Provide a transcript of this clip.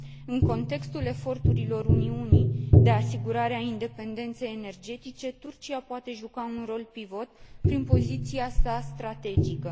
În contextul eforturilor Uniunii Europene de asigurare a independenței energetice, Turcia poate juca un rol pivot, prin poziția sa strategică.